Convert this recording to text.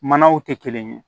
Manaw tɛ kelen ye